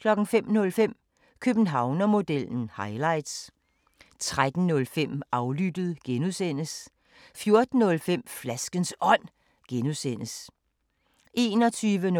05:05: Københavnermodellen – highlights 13:05: Aflyttet (G) 14:05: Flaskens Ånd (G) 21:05: Efter Otte,